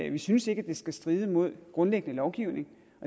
ikke synes at det skal stride mod grundlæggende lovgivning